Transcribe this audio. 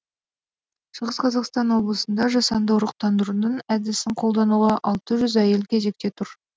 шығыс қазақстан облысында жасанды ұрықтандырудың әдісін қолдануға алты жүз әйел кезекте тұр